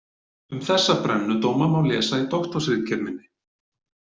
Um þessa brennudóma má lesa í doktorsritgerð minni.